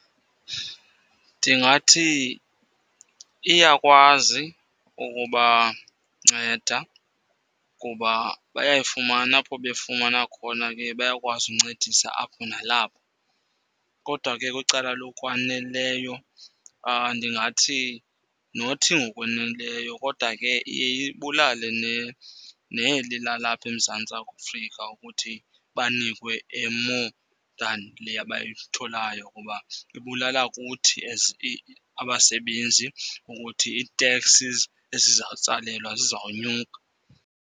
Ndingathi iyakwazi ukubanceda kuba bayayifumana. Apho befumana khona ke bayakwazi uncedisa apho nalapho. Kodwa ke kwicala lokwaneleyo ndingathi nothi ngokwaneleyo kodwa ke iye ibulale neli lalapha eMzantsi Afrika ukuthi banikwe e-more than le abayitholayo kuba ibulala kuthi as abasebenzi ukuthi i-taxes ezizawutsalelwa zizawunyuka.